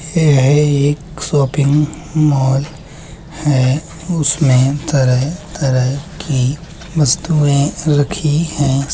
येह है एक शॉपिंग मॉल है उसमें तरह-तरह की वस्तुएं रखी हैं।